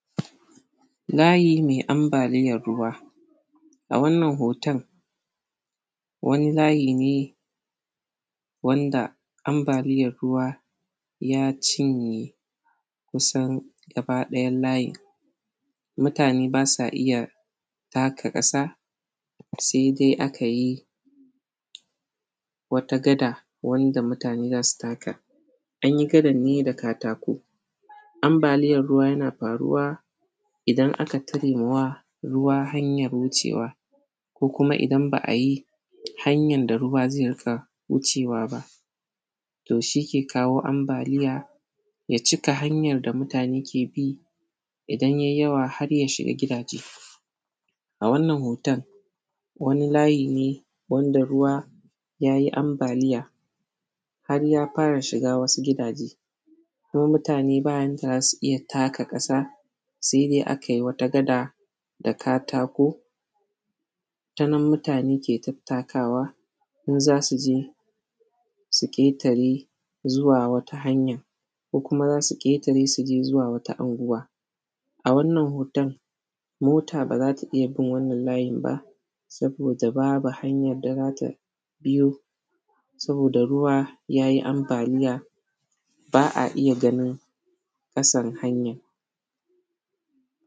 Layi mai ambaliyar ruwa A wanannan hoton, wani layi ne wanda ambaliyar ruwa ya cinye kusan gabaɗayan layin. Mutane ba sa iya taka ƙasa, sai dai aka yi wata gada wanda mutane za su taka An yi gadan ne da katako. Ambaliyar ruwa yana faruwa idan aka tare ma wa ruwa hanyar wucewa, ko kuma idan ba a yi hanyan da ruwa zai riƙa wucewa ba to shi ke kawo ambalia, ya cika hanyan da mutane ke bi, idan yai yawa har ya shiga gidaje A wannan hoton, wani layi ne wanda ruwa ya yi ambaliya har ya fara shiga wasu gidaje, kuma mutane ba yanda za su iya taka ƙasa, sai dai a kai wata gada da katako, ta nan mutane ke tattakawa in za su je su ƙetare zuwa wata hanya, ko kuma wasu su ƙetare su je zuwa wata anguwa A wannan hoton, mot aba za ta iya bin wannan layin ba, saboda da babu hanyad da za ta biyo, saboda ruwa ya yi ambaliya, ba a iya ganin ƙasan hanyan.